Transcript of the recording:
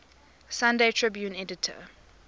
sunday tribune editor